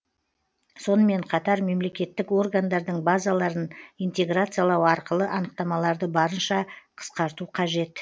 сонымен қатар мемлекеттік органдардың базаларын интеграциялау арқылы анықтамаларды барынша қысқарту қажет